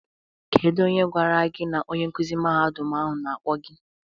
Kedu onye gwara gi na onye nkuzi mahadum ahụ na-akpo gi?